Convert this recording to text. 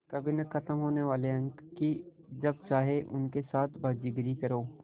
कभी न ख़त्म होने वाले अंक कि जब चाहे उनके साथ बाज़ीगरी करो